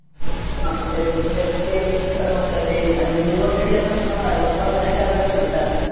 हा ते तेच तेच ते आणि zoom वर तरी आता समजा शंभर जणांच्या under च घेतात.